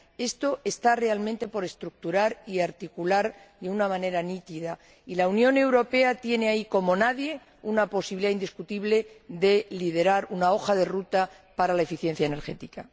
Esto está realmente por estructurar y articular de una manera nítida y la Unión Europea tiene ahí, como nadie, una posibilidad indiscutible de liderar una hoja de ruta para la eficiencia energética.